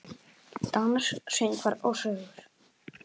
Dans, söngvar og sögur.